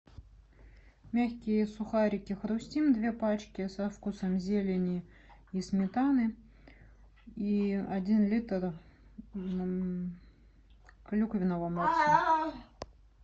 мягкие сухарики хрустим две пачки со вкусом зелени и сметаны и один литр клюквенного морса